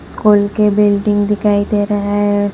School के building दिखाई दे रहा है।